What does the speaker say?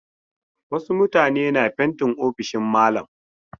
Wasu mutane na fentin ofishin malam